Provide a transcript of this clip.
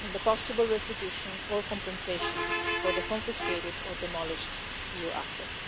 on the possible restitution or compensation for the confiscated or demolished EU assets.